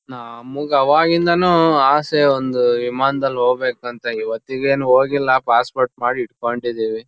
ನಮ್ಗ್ ಅವಾಗಿಂದಾನು ಅಸೆ ಒಂದು ವಿಮಾನ್ ದಲ್ ಹೋಗ್ಬೇಕು ಅಂತ ಇವತ್ತಿಗೇನ್ ಹೋಗಿಲ್ಲ. ಪಾಸ್ ಪೋರ್ಟ್ ಮಾಡ್ ಇಟ್ಕೊಂಡಿದೀವಿ.